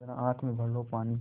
ज़रा आँख में भर लो पानी